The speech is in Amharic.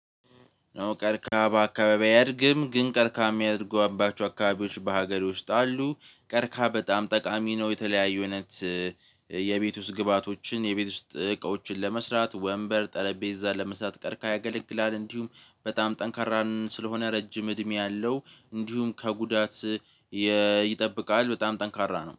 ነው ቀርካ በአካባቢው አያድግም ግን ቀርከሃ የሚያደርጉባቸው አካባቢዎች በሀገር ውስጥ አሉ። ቀርካ በጣም ጠቃሚ ነው። የተለያዩ አይነት የቤት ውስጥ ግብአቶችን የቤት ውስጥ እቃዎችን ለመስራት ወንበር ጠረጴዛ ለመስራት ቀርከሃ ያገለግላል። እንዲሁም በጣም ጠንካራ ስለሆነ ረጅም እድሜ አለው። እንዲሁም ከጉዳት ይጠብቃል። በጣም ጠንካራ ነው